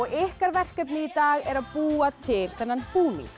ykkar verkefni í dag er að búa til þennan búning